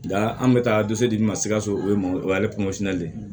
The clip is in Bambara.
Nka an bɛ taa don so dimi ma sikaso o ye o ye le ye